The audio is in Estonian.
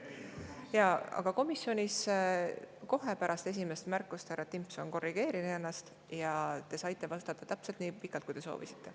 Jaa, aga komisjonis kohe pärast esimest märkust härra Timpson korrigeeris ennast ja te saite vastata täpselt nii pikalt, kui soovisite.